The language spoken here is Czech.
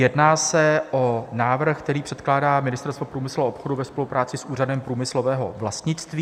Jedná se o návrh, který předkládá Ministerstvo průmyslu a obchodu ve spolupráci s Úřadem průmyslového vlastnictví.